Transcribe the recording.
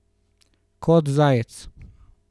Kot zajec.